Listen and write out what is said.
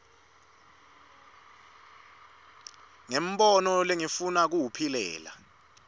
ngumbono lengifuna kuwuphilela